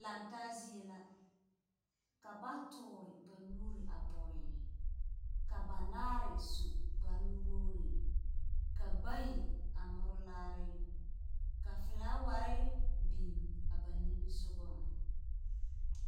Lantaa zie, ka ba tore ba nuuri a pɔge, ka banaare su kpare nuwogiri, ka bayi a more laare. Ka felaaware biŋ a ba nimisogaŋ.